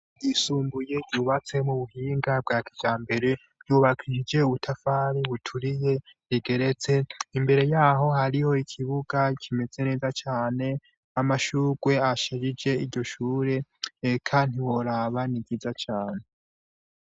Ryisumbuye mu buhinga bwa kijambere, ryubakishije ubutafari buturiye, rigeretse imbere yaho hariho kibuga kimeze neza cane amashurwe asharije iryo shure eka ntiworaba ni ryiza cane.